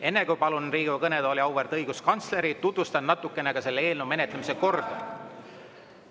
Enne kui palun Riigikogu kõnetooli auväärt õiguskantsleri, tutvustan natukene selle menetlemise korda.